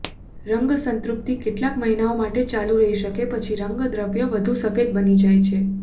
રંગ સંતૃપ્તિ કેટલાક મહિનાઓ માટે ચાલુ રહી શકે પછી રંગદ્રવ્ય વધુ સફેદ બની જાય છે